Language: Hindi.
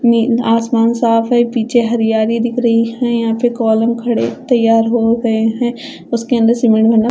नीं आसमान साफ है पीछे हरयाली दिख रही है यहाँ पर कॉलम खड़े तैयार हो गये है उसके अंदर सीमेंट भरना--